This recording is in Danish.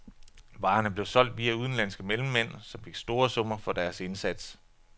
Varerne blev solgt via udenlandske mellemmænd, som fik store summer for deres indsats.